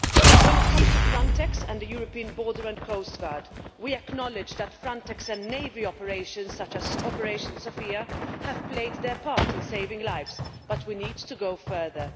When it comes to Frontex and the European Border and Coast Guard, we acknowledge that Frontex and naval operations such as Operation Sophia have played their part in saving lives, but we need to go further.